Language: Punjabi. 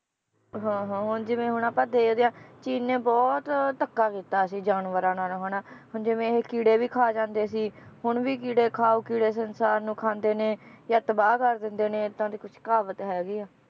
ਹਾਂ ਹਾਂ ਹੁਣ ਜਿਵੇ ਆਪਾਂ ਹੁਣ ਵੇਖਦੇ ਆ ਚੀਨ ਨੇ ਬਹੁਤ ਧੱਕਾ ਕੀਤਾ ਸੀ ਜਾਨਵਰਾਂ ਨਾਲ ਹਨਾ ਹੁਣ ਜਿਵੇ ਇਹ ਕੀੜੇ ਵੀ ਖਾ ਜਾਂਦੇ ਸੀ, ਹੁਣ ਵੀ ਕੀੜੇ ਖਾਓ ਕੀੜੇ ਸੰਸਾਰ ਨੂੰ ਖਾਂਦੇ ਨੇ ਜਾਂ ਤਬਾਹ ਕਰ ਦਿੰਦੇ ਨੇ, ਏਦਾਂ ਦੀ ਕੁਛ ਕਹਾਵਤ ਹੈਗੀ ਆ